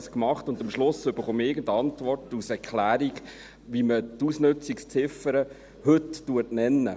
Das habe ich gemacht, und am Schluss erhalte ich irgendeine Antwort als Erklärung, wie man die Ausnutzungsziffer heute nenne.